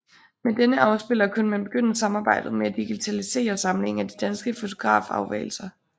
Med denne afspiller kunne man begynde arbejdet med at digitalisere samlingen af de danske fonografvalser